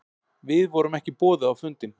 Við vorum ekki boðuð á fundinn